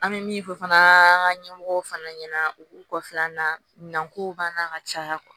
An bɛ min fɔ fana an ka ɲɛmɔgɔw fana ɲɛna u k'u kɔfɛla min kow b'an na ka caya